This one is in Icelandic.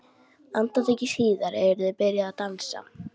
Andartaki síðar eru þau byrjuð að dansa.